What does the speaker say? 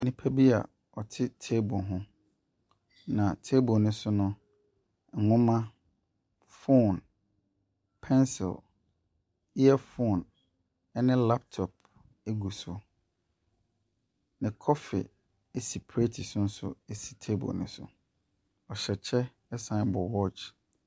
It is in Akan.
Nnipa bi a ɔte table ho. Na table no so nhoma, phone, pencil, earphone ɛne laptop egu so. Na coffee esi prɛt so nso esi table no so. Ɔhyɛ kyɛ ɛsan bɔ watch.